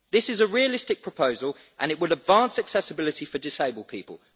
This is a realistic proposal and it will advance accessibility for disabled people.